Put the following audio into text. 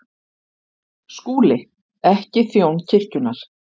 SKÚLI: Ekki þjón kirkjunnar.